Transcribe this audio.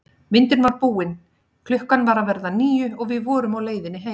Myndin var búin, klukkan var að verða níu og við vorum á leiðinni heim.